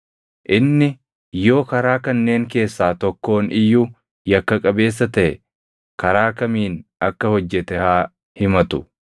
Inni yoo karaa kanneen keessaa tokkoon iyyuu yakka qabeessa taʼe karaa kamiin akka hojjete haa himatu;